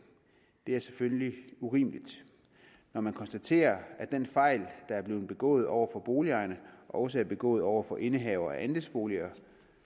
det er selvfølgelig urimeligt når man konstaterer at den fejl der er blevet begået over for boligejerne også er begået over for indehavere af andelsboliger